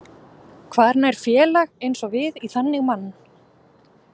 Hvar nær félag eins og við í þannig mann?